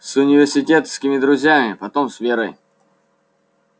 с университетскими друзьями потом с верой